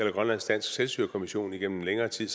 i grønlandsk dansk selvstyrekommission igennem længere tid